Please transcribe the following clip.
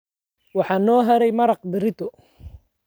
Waxaa noo haray maraq berrito.